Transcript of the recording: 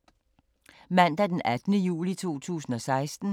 Mandag d. 18. juli 2016